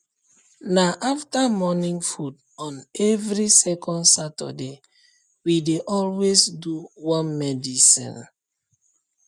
na after morning food on every second saturday we dey always do worm medicine